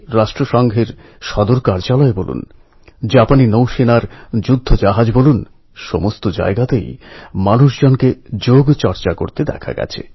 প্রত্যেকের ধৈর্য সংযম পুরো সমাজের শান্ত ব্যবহার সত্যিই আমাদের জন্য শিক্ষামূলক বিষয়